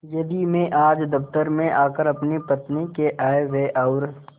यदि मैं आज दफ्तर में आकर अपनी पत्नी के आयव्यय और